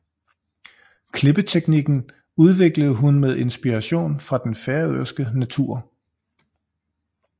Klippeteknikken udviklede hun med inspirationen fra den færøske natur